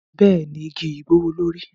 Bẹẹni, igi yi gbowolori.